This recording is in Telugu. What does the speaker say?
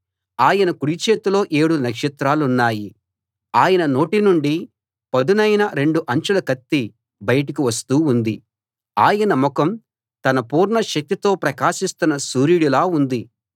ఆయన కుడి చేతిలో ఏడు నక్షత్రాలున్నాయి ఆయన నోటి నుండి పదునైన రెండు అంచుల కత్తి బయటకు వస్తూ ఉంది ఆయన ముఖం తన పూర్ణ శక్తితో ప్రకాశిస్తున్న సూర్యుడిలా ఉంది